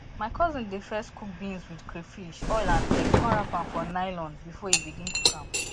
my cousin dey first cook beans with crayfish oil and egg con wrap am for nylon before e begin cook am